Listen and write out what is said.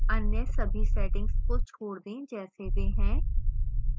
अन्य सभी settings को छोड़ दें जैसे वे हैं